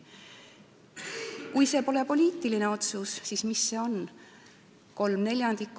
Kui see pole poliitiline otsus, siis mis see on?